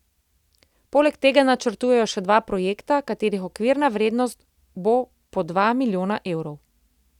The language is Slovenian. Poleg tega načrtujejo še dva projekta, katerih okvirna vrednost bo po dva milijona evrov.